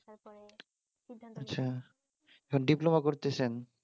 আচ্ছা এখন ডিপ্লোমা করতেছেন?